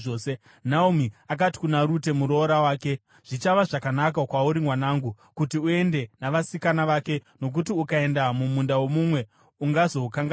Naomi akati kuna Rute muroora wake, “Zvichava zvakanaka kwauri mwanangu, kuti uende navasikana vake, nokuti ukaenda mumunda womumwe ungazokanganiswa.”